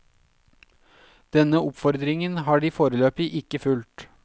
Denne oppfordringen har de foreløpig ikke fulgt.